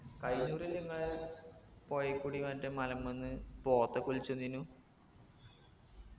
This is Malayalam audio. കൈന പ്രാശം ഇങ്ങളെ പൊഴേക്കൂടി മറ്റെ മലമ്മന്ന് പോത്തൊക്കെ ഒലിച്ച് വന്നിനു